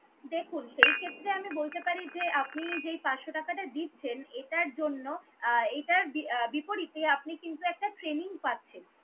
দেখুন, সেই ক্ষেত্রে আমি বলতে পারি যে আপনি যে আপনি যেই পাঁচশ টাকাটা দিচ্ছেন, এটার জন্য আহ এটার আহ বিপরীতে আপনি কিন্তু একটা training পাচ্ছেন